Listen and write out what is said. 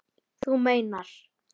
Þú meinar!